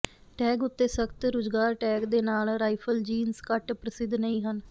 tag ਉੱਤੇ ਸਖਤ ਰੁਜਗਾਰ ਟੈਗ ਦੇ ਨਾਲ ਰਾਈਫਲ ਜੀਨਸ ਘੱਟ ਪ੍ਰਸਿੱਧ ਨਹੀਂ ਹਨ